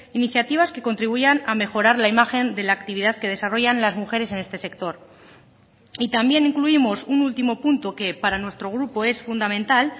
iniciativas que contribuyan a mejorar la imagen de la actividad que desarrollan las mujeres en este sector y también incluimos un último punto que para nuestro grupo es fundamental